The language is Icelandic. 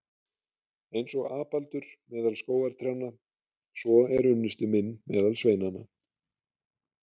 Eins og apaldur meðal skógartrjánna, svo er unnusti minn meðal sveinanna.